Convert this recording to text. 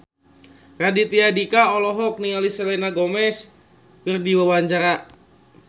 Raditya Dika olohok ningali Selena Gomez keur diwawancara